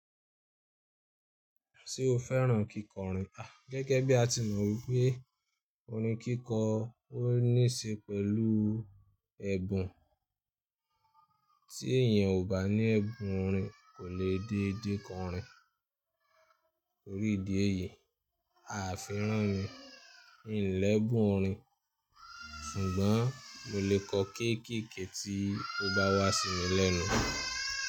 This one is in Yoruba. Ṣé o fẹ́ràn kíkọrin? A, gẹgẹ bí a ti mọ̀ wípé orin kíkọ ó ní ṣe pẹ̀lú ẹ̀bùn. Tí èèyàn ò bá ní ẹ̀bùn orin kò lè dédé kọ orin. Torí ìdí èyí, a o fẹ́ràn, mi l'ẹbún orin ṣùgbọ́n mo lè kọ kéékèèké tí ó bá wá sí mi lẹ́nu.